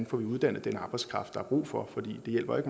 får uddannet den arbejdskraft der er brug for for det hjælper jo